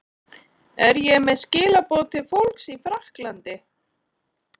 Er ég með skilaboð til fólks í Frakklandi?